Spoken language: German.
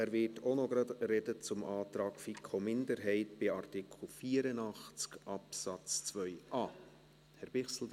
Er wird auch gleich über den Antrag FiKo-Minderheit zu Artikel 84 Absatz 2a sprechen.